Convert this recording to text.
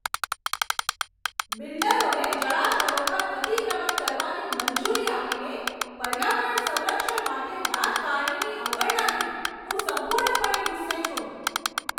બિલ્ડરોને જળાશયો પર અતિક્રમણ કરવાની મંજૂરી આપીને પર્યાવરણ સંરક્ષણ માટે રાજકારણીની અવગણનાથી હું સંપૂર્ણપણે ગુસ્સે છું.